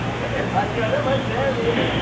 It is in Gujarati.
સાચી વાત હે ભાઈ same એ જ.